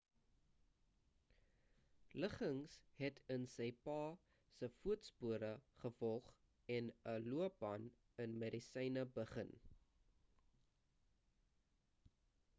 liggins het in sy pa se voetspore gevolg en 'n loopbaan in medisyne begin